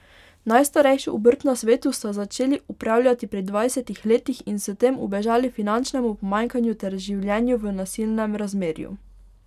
Najstarejšo obrt na svetu sta začeli opravljati pri dvajsetih letih in s tem ubežali finančnemu pomanjkanju ter življenju v nasilnem razmerju.